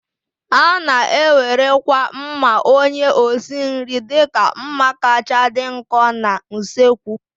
A na-ewerekwa mma onye osi nri dịka mma kacha dị nkọ na usekwu.